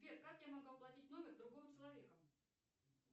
сбер как я могу оплатить номер другого человека